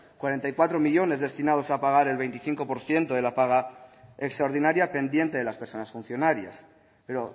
cuarenta y cuatro millónes destinados a pagar el veinticinco por ciento de la paga extraordinaria pendiente de las personas funcionarias pero